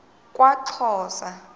kwaxhosa